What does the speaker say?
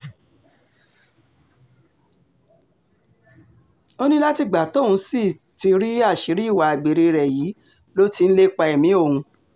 ó ní látìgbà tóun sì ti rí àṣírí ìwà àgbèrè rẹ̀ yìí ló ti ń lépa ẹ̀mí òun